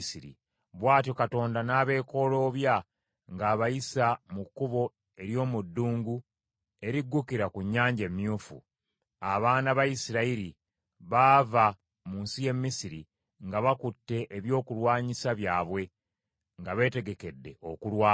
Bw’atyo Katonda n’abeekooloobya ng’abayisa mu kkubo ery’omu ddungu eriggukira ku Nnyanja Emyufu. Abaana ba Isirayiri baava mu nsi y’e Misiri nga bakutte ebyokulwanyisa byabwe nga beetegekedde okulwana.